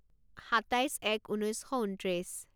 সাতাইছ এক ঊনৈছ শ ঊনত্ৰিছ